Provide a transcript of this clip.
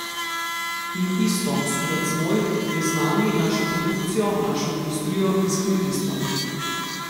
In isto, sudac moj, je z nami, našo produkcijo, našo industrijo in s kmetijstvom.